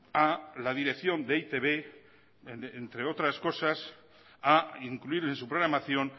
a la dirección de e i te be entre otras cosas a incluir en su programación